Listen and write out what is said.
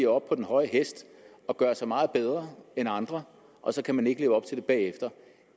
op på den høje hest og gør sig meget bedre end andre og så kan man ikke leve op til det selv bagefter